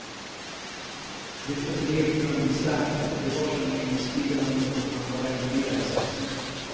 De förblev drömgestalter, de var som minnesbilden av något man bara inbillat sig.